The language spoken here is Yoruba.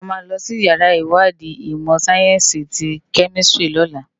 Ámá lòsi iyàrá iwádi imò sáyènsi ti kèmisitiri lòlá